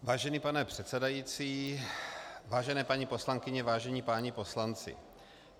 Vážený pane předsedající, vážené paní poslankyně, vážení páni poslanci.